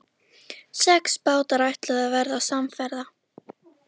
Sex bátar ætluðu að verða samferða.